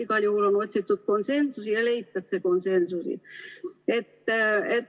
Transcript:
Igal juhul on otsitud konsensusi ja leitakse konsensused.